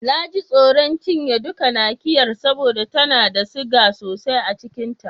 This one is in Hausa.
Na ji tsoron cinye duka Nakiyar saboda tana da siga sosai a cikin ta.